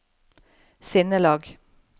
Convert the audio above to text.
sinnelag